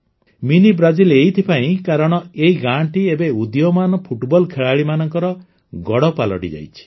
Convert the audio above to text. mini Brazil ଏଥିପାଇଁ କାରଣ ଏଇ ଗାଁଟି ଏବେ ଉଦୀୟମାନ ଫୁଟବଲ ଖେଳାଳିମାନଙ୍କର ଗଡ଼ ପାଲଟିଯାଇଛି